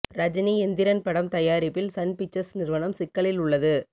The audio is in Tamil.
ரஜினி எந்திரன் படம் தயாரிப்பில் சன் பிக்சர்ஸ் நிறுவனம் சிக்கலில் உள்ளது